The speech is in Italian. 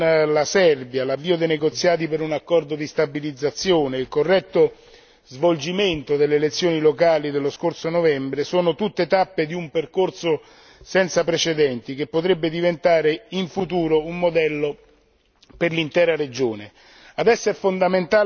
Lo storico accordo con la Serbia, l'avvio dei negoziati per un accordo di stabilizzazione, il corretto svolgimento delle elezioni locali dello scorso novembre, sono tutte tappe di un percorso senza precedenti, che potrebbe diventare in futuro un modello per l'intera regione.